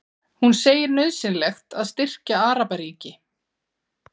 Hún segir nauðsynlegt að styrkja Arabaríki